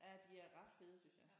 Ja de er ret fede synes jeg